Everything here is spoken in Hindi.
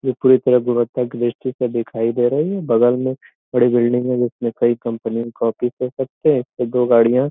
ये पूरी तरह व्यवस्था पर दिखाई दे रहे हैं बगल में बड़ी बिल्डिंग है जिसमें कई कंपनी का ऑफिस कह सकते है एक से दो गाड़ियाँ --